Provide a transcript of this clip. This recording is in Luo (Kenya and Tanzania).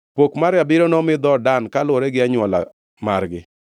Pok mar abiriyo nomi dhood Dan, kaluwore gi anywola margi.